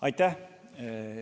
Aitäh!